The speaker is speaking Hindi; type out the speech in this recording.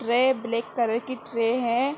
ट्रे ब्लैक कलर की ट्रे है।